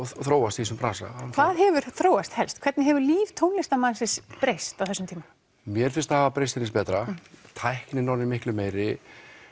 þróast í þessum bransa hvað hefur þróast helst hvernig hefur líf tónlistarmannsins breyst á þessum tíma mér finnst það hafa breyst til hins betra tæknin orðin miklu meiri